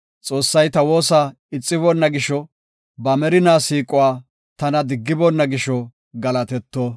Xoossay ta woosa ixiboonna gisho, ba merinaa siiquwa tana diggiboonna gisho galatetto.